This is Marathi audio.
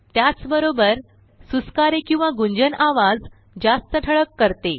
त्याचबरोबरसुस्कारे आणि गुंजन आवाज जास्त ठळक करते